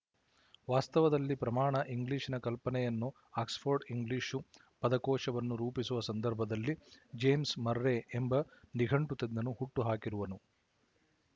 ವಾಸ್ತವದಲ್ಲಿ ಪ್ರಮಾಣ ಇಂಗ್ಲಿಶಿನ ಕಲ್ಪನೆಯನ್ನು ಆಕ್ಸ್‍ಫರ್ಡ್ ಇಂಗ್ಲಿಶು ಪದಕೋಶವನ್ನು ರೂಪಿಸುವ ಸಂದರ್ಭದಲ್ಲಿ ಜೇಮ್ಸ್ ಮರ್ರೆ ಎಂಬ ನಿಘಂಟು ತಜ್ಞನು ಹುಟ್ಟು ಹಾಕಿರುವನು